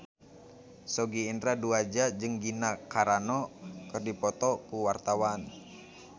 Sogi Indra Duaja jeung Gina Carano keur dipoto ku wartawan